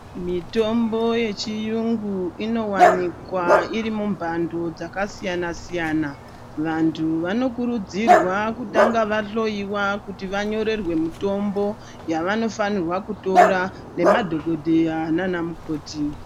Mitombo yechiyungu inowanikwa irimumbando dzakasiyana siyana vantu vanokurudzirwa kutanga vahloyiwa kuti vanyorerwe mitombo yavano fanirwa kutora nemadhokodheya nanamukoti